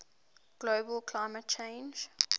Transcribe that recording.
global climate change